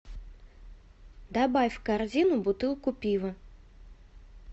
добавь в корзину бутылку пива